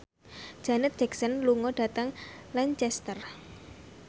Janet Jackson lunga dhateng Lancaster